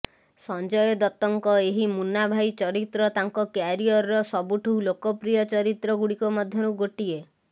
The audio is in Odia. ସଞ୍ଜୟ ଦତ୍ତଙ୍କ ଏହି ମୁନ୍ନାଭାଇ ଚରିତ୍ର ତାଙ୍କ କ୍ୟାରିୟର ସବୁଠୁ ଲୋକପ୍ରିୟ ଚରିତ୍ର ଗୁଡ଼ିକ ମଧ୍ୟରୁ ଗୋଟିଏ